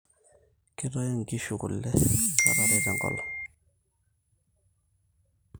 kitayu nkiishu kule kata are tenkolong